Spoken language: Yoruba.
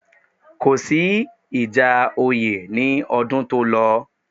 Kò sí ìjà oyè ní ọdún tó lọ